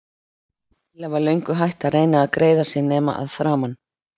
Lilla var löngu hætt að reyna að greiða sér nema að framan.